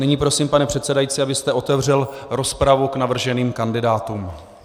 Nyní prosím, pane předsedající, abyste otevřel rozpravu k navrženým kandidátům.